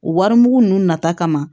O warimugu ninnu nata kama